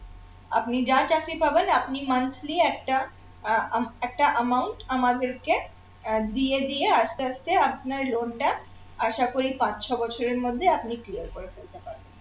আপনি যা চাকরি পাবেন আপনি monthly একটা আহ আম একটা amount আমাদেরকে আহ দিয়ে দিয়ে আস্তে আস্তে আপনার loan টা আসা করি পাঁচ ছয় বছরের মধ্যে আপনি clear করে ফেলতে পারবেন